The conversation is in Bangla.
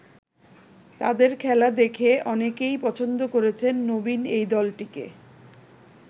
তাদের খেলা দেখে অনেকেই পছন্দ করেছেন নবীন এই দলটিকে।